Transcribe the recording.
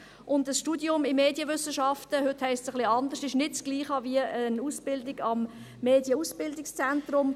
Ein Studium in Medienwissenschaften – heute heisst dies etwas anders – ist nicht dasselbe wie eine Ausbildung am Medienausbildungszentrum.